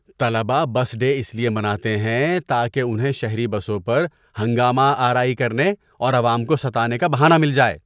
طلبہ bus day اس لیے مناتے ہیں تاکہ انہیں شہری بسوں پر ہنگامہ آرائی کرنے اور عوام کو ستانے کا بہانہ مل جائے۔